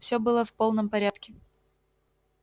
всё было в полном порядке